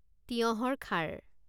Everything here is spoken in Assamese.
তিয়হৰ খাৰ